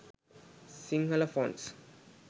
sinhala fonts